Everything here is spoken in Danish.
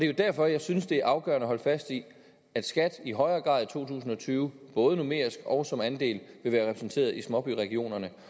jo derfor at jeg synes det er afgørende at holde fast i at skat i højere grad i to tusind og tyve både numerisk og som andel vil være repræsenteret i småbyregionerne